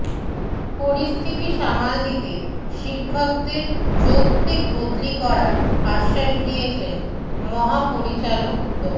পরিস্থিতি সামাল দিতে শিক্ষকদের যৌক্তিক বদলি করার আশ্বাস দিয়েছেন মহাপরিচালক ড